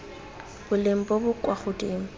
boleng bo bo kwa godimo